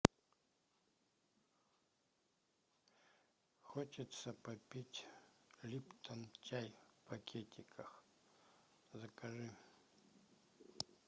хочется попить липтон чай в пакетиках закажи